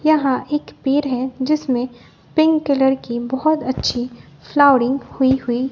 यहां एक पेड़ है जिसमें पिंक कलर की बहोत अच्छी फ्लावरिंग होई हुई--